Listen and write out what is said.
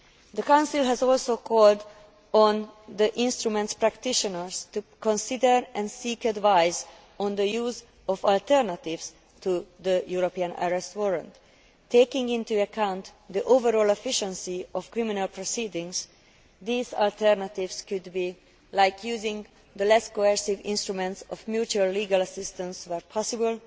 The Council has also called on the instrument's practitioners to consider and seek advice on the use of alternatives to the European Arrest Warrant. Taking into account the overall efficiency of criminal proceedings, these alternatives could include using the less coercive instruments of mutual legal assistance where possible,